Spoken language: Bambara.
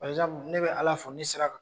Ne bɛ ALA fo ne sera ka